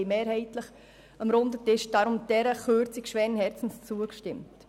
Deshalb haben wir dieser Kürzung am runden Tisch schweren Herzens zugestimmt.